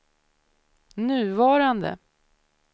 nuvarande